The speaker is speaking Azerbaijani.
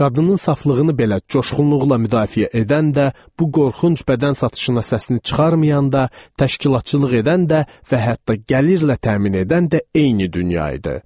Qadının saflığını belə coşğunluqla müdafiə edən də, bu qorxunc bədən satışına səsini çıxarmayanda təşkilatçılıq edən də və hətta gəlirlə təmin edən də eyni dünya idi.